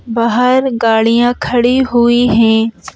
बाहर गाड़ियां खड़ी हुई हैं ।